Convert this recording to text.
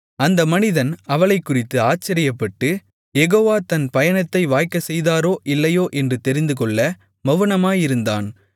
அந்த மனிதன் அவளைக்குறித்து ஆச்சரியப்பட்டு யெகோவா தன் பயணத்தை வாய்க்கச்செய்தாரோ இல்லையோ என்று தெரிந்துகொள்ள மவுனமாயிருந்தான்